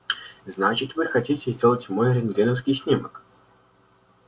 значит вы хотите сделать мой рентгеновский снимок